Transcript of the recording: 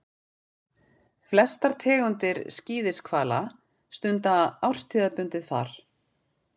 Flestar tegundir skíðishvala stunda árstíðabundið far.